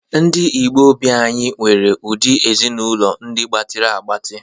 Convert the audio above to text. Ndi Igbo beanyi nwere udi Ezinụlọ ndị gbatịrị agbatị